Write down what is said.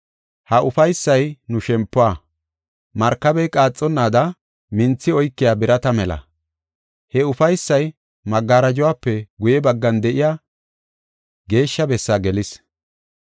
Ha ufaysay nu shempuwa, markabey qaaxonnaada minthi oykiya birata mela. He ufaysay magarajuwafe guye baggan de7iya geeshsha bessaa gelis.